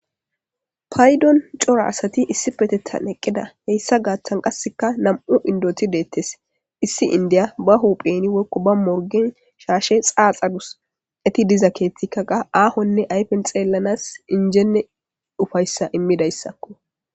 Paydon cora asati issipetethan eqqida.hessa gaathan qassika nam7u inddoti deetes.isdi inddiya bahuuhen woykko ba morggen shaashe xaaxadus.eti diza keethikka keehi sahonne qas xeellanaas injjenne ufayssa immizayssakko.